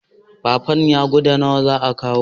patanya guda nawa za a kawo?